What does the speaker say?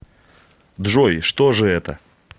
джой что же это